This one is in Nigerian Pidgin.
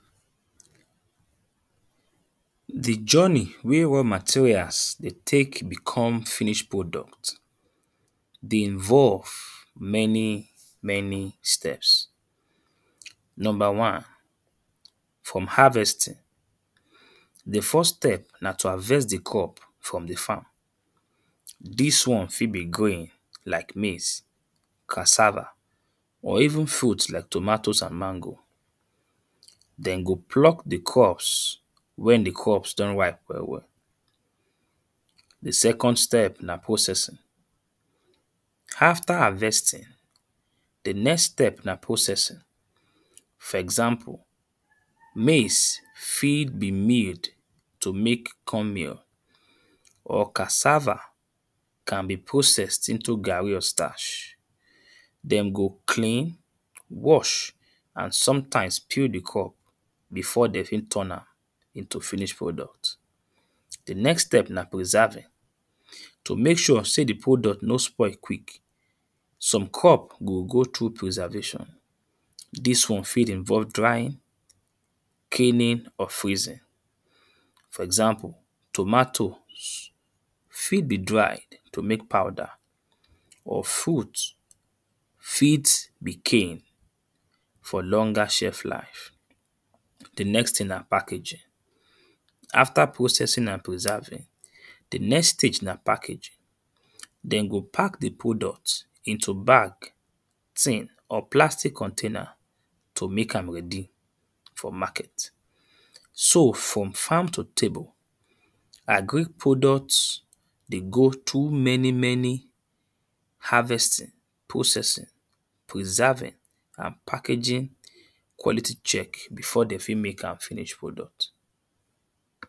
The journey wey raw materials dey take become finish product dey involve many many steps. Number one: From harvesting, the first step na to harvest the crop from the farm. mhn. This one fit be green like maize, cassava or even fruits like tomatoes and mango. Dem go pluck the crops when the crops don ripe well well. The second steps na processing. After harvesting the next step na processing. For example, maize fit be made to make corn mill or cassava can be processed into gari or starch. Dem go clean, wash and sometimes peel the crop. before de fit turn am into finish product. The next step na preserving. To make sure sey the product no spoil quick some crop go go through preservation. Dis one fit involve drying canning or freezing. For examples, tomatoes, fit be dried to make powder or fruit fit be canned for longer shelf life. The next thing na packaging. After processing and preserving, the next stage na packaging. Den go pack the product into bag thing or plastic container to make am ready for market. So from farm to table agric products dey go too many many harvesting processing, preserving and packaging quality check before de fit make am finish product.